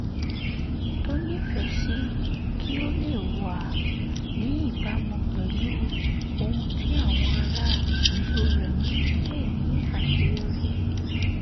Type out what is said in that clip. to nífẹ̀ẹ́ sí kí ó lè wà níbàámú pẹ̀lú ohun tí àwọn ará ìlú rẹ̀ ń pè ní aṣeyọri